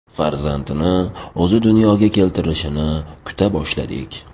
Farzandini o‘zi dunyoga keltirishini kuta boshladik.